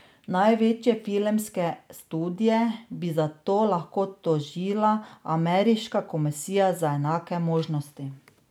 Največje filmske studie bi zato lahko tožila ameriška komisija za enake možnosti.